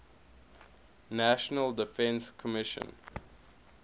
national defense commission